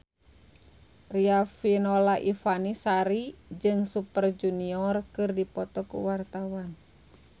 Riafinola Ifani Sari jeung Super Junior keur dipoto ku wartawan